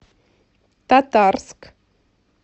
татарск